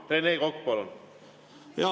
Rene Kokk, palun!